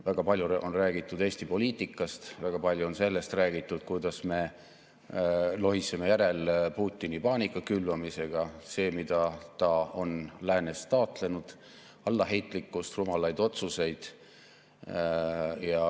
Väga palju on räägitud Eesti poliitikast, väga palju on räägitud sellest, kuidas me lohiseme järel Putini paanika külvamisel, sellel, mida ta on läänes taotlenud: allaheitlikkus, rumalad otsused.